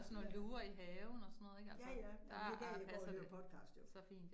Ja. Ja ja, men det kan jeg gå og høre podcast jo